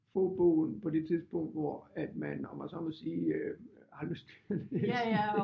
Få bogen på det tidspunkt hvor at man om man så må sige har lyst til at læse den